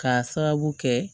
K'a sababu kɛ